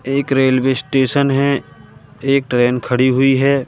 एक railway station है एक ट्रेन खड़ी हुई है।